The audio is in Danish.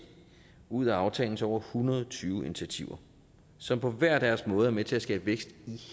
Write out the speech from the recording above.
ud af aftalens over hundrede og tyve initiativer som på hver deres måde er med til at skabe vækst i